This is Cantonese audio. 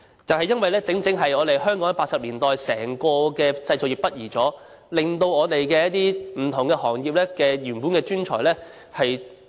正是因為香港1980年代整體製造業北移，令不同的行業的一些專才轉行了。